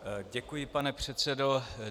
Děkuji, pane předsedo.